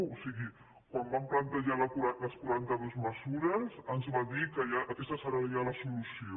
o sigui quan van plantejar les quaranta·dues mesures ens va dir que aquesta serà ja la solu·ció